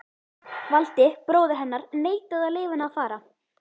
Valdi, bróðir hennar, neitaði að leyfa henni að fara.